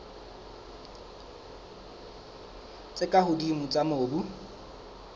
tse ka hodimo tsa mobu